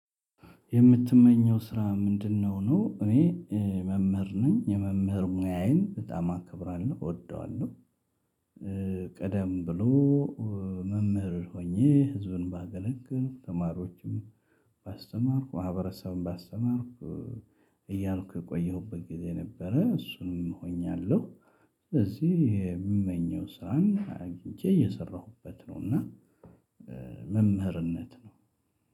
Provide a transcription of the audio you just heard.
የምትመኘው ስራ ምንድነው? ነው እኔ መምህር ነኝ የመምህር ሙያዬን በጣም አከብራለሁ እወደዋለሁ። ቀደም ብሎ መምህር ሆኜ ህዝብን ባገለግል ተማሪዎችም ባስተማርኩ ማህበረሰብም ባስተማርኩ እያልኩ የቆየሁበት ጊዜ ነበረ እሱንም እቆያለሁ። ስለዚህ የምመኘው ስራን አግኝቼ እየሰራሁበት ነው። እና መምህርነት ነው።